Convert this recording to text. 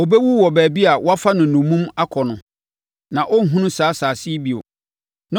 Ɔbɛwu wɔ baabi a wɔafa no nnommum akɔ hɔ; na ɔrenhunu saa asase yi bio.”